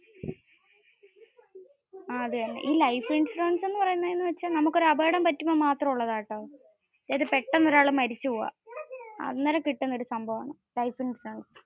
ഈ life insurance എന്ന് പറയ്യുന്നെ ഏന് വെച്ച നമ്മുക് ഒരു അപകടം പറ്റുമ്പോ മാത്രം ഉള്ളതാട്ടോ. അതായത് പെട്ടെന്നു ഒരാൾ മരിച്ചു പോകുവാ. അന്നേരം കിട്ടുന്ന ഒരു സംഭവമാ. life insurance.